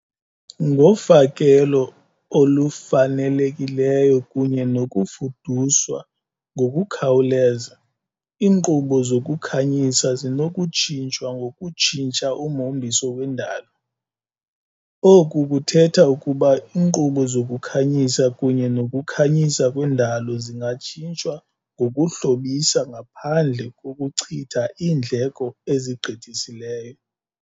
Ngofakelo olufanelekileyo kunye nokufuduswa ngokukhawuleza, iinkqubo zokukhanyisa zinokutshintshwa ngokutshintsha umhombiso wendalo. Oku kuthetha ukuba iinkqubo zokukhanyisa kunye nokukhanyisa kwendalo zingatshintshwa ngokuhlobisa ngaphandle kokuchitha iindleko ezigqithiseleyo.